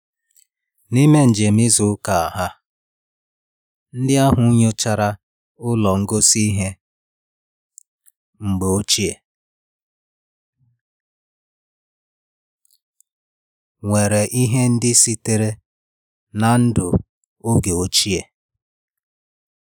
N'ime njem izu ụka ha, ndị ahụ nyochara ụlọ ngosi ihe mgbe ochie nwere ihe ndị sitere na ndụ oge ochie